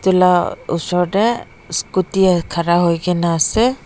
moi lah ushor teh scooty khara hoi ke na ase.